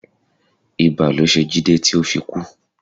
Ibà ló ṣe Jide ti o fi kú